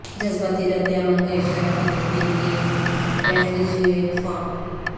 جذباتی ردعمل کا اشارہ کرنے کے لئے ریفریجویٹ فارم